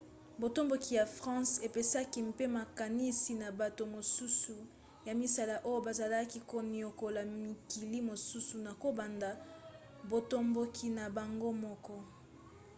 botomboki ya france epesaki mpe makanisi na bato mosusu ya misala oyo bazalaki koniokola mikili mosusu na kobanda botomboki na bango moko